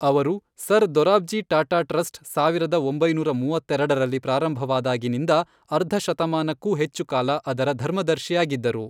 ಅವರು sir Dorabji Tata trust ಸಾವಿರದ ಒಂಬೈನೂರ ಮೂವತ್ತೆರೆಡರಲ್ಲಿ ಪ್ರಾರಂಭವಾದಾಗಿನಿಂದ ಅರ್ಧ ಶತಮಾನಕ್ಕೂ ಹೆಚ್ಚು ಕಾಲ ಅದರ ಧರ್ಮದರ್ಶಿಯಾಗಿದ್ದರು.